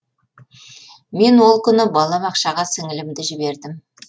мен ол күні бала бақшаға сіңілімді жібердім